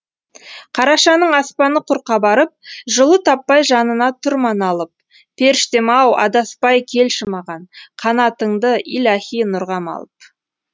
қарашаның аспаны құр қабарып жылу таппай жанына тұр ма налып періштем ау адаспай келші маған қанатыңды илаһи нұрға малып